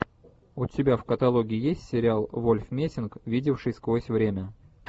у тебя в каталоге есть сериал вольф мессинг видевший сквозь время